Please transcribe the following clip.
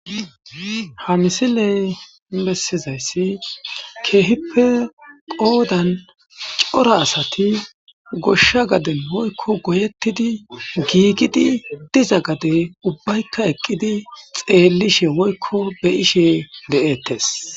Ha misiley bessizayssi keehippe qoodan cora asati goshsha gaden woykko goyettidi giigidi diza gade ubbaykka eqqidi xeellishe woykko be ishe de'ettes.